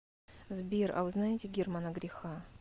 сбер а вы знаете германа греха